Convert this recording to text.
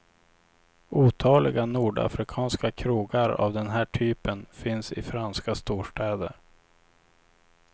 Otaliga nordafrikanska krogar av den här typen finns i franska storstäder.